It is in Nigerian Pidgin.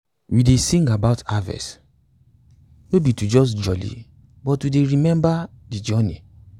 we dey sing about harvest no be just to jolli but to dey remember de journey